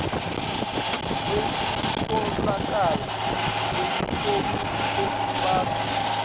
kwekutfolakala kwelifomu lekufaka